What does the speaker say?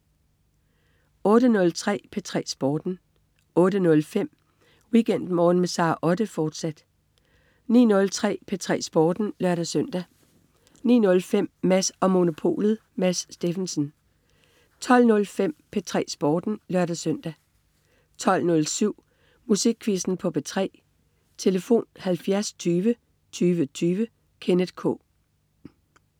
08.03 P3 Sporten 08.05 WeekendMorgen med Sara Otte, fortsat 09.03 P3 Sporten (lør-søn) 09.05 Mads & Monopolet. Mads Steffensen 12.05 P3 Sporten (lør-søn) 12.07 Musikquizzen på P3. Tlf.: 70 20 20 20. Kenneth K